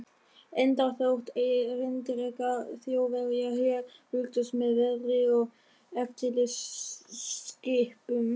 Enda þótt erindrekar Þjóðverja hér fylgdust með veðri og eftirlitsskipum